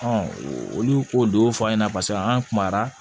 olu ko don fɔ an ɲɛna paseke an kumara